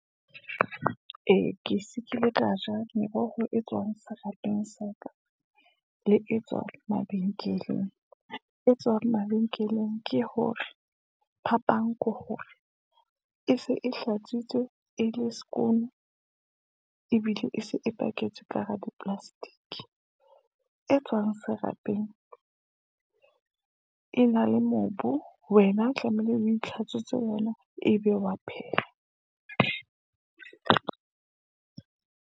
Ee, ke kile ka ja meroho e tswang serapeng sa ka, le e tswang mabenkeleng, e tswang mabenkeleng ke hore, phapang ke hore e se e hlatsitswe e le skoen, ebile e se e paketswe ka hara di-plastic , e tswang serapeng e na le mobu, wena tlameile o itlhatswetsa ona, e be wa pheha.